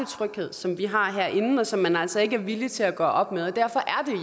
tryghed som vi har herinde og som man altså ikke er villige til at gøre op med derfor er